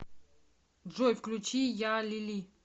джой включи я лили